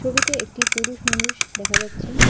ছবিতে একটি পুরুষ মানুষ দেখা যাচ্ছে।